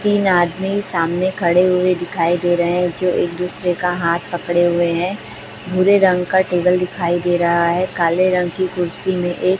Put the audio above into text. तीन आदमी सामने खड़े हुए दिखाई दे रहे हैं जो एक दूसरे का हाथ पकड़े हुए हैं भूरे रंग का टेबल दिखाई दे रहा है काले रंग की कुर्सी मे एक--